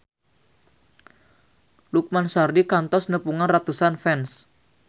Lukman Sardi kantos nepungan ratusan fans